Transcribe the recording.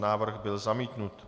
Návrh byl zamítnut.